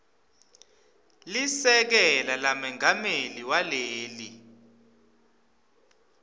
lisekela lamengameli waleli